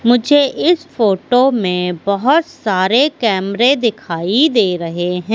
मुझे इस फोटो में बहोत सारे कैमरे दिखाई दे रहे हैं।